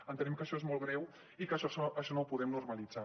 entenem que això és molt greu i que això no ho podem normalitzar